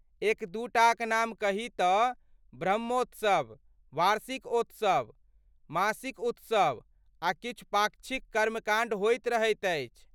एक दू टाक नाम कही तँ ब्रह्मोत्सव, वार्षिक उत्सव, मासिक उत्सव आ किछु पाक्षिक कर्मकाण्ड होइत रहैत अछि।